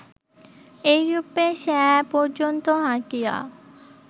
এইরূপে স্যা পর্যন্ত হাঁটিয়া